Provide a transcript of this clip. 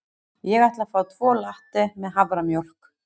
Ég ætla að fá tvo latte með haframjólk.